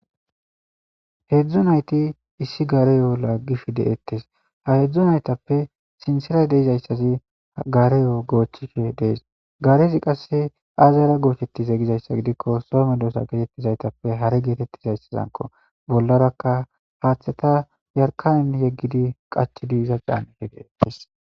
heedzdzo nayti issi gareyo laaggishe deettes ha hedzdzo naytappe sinsera deizayssazi gareyo goochchike dees garezi qasse azara goochetize gizayssa gidikko some doosa geetettizaytappe hare geetettizayssazanko bollarakka haaththeta yarkanen yeggidi qach diiza caaneke deettes